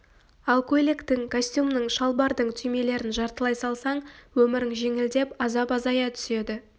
ал көйлектің костюмнің шалбардың түймелерін жартылай салсаң өмірің жеңілдеп азап азая түседі